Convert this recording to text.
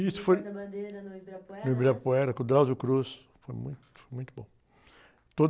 E isso foi...) a bandeira no Ibirapuera? No Ibirapuera, com o, foi muito, muito bom.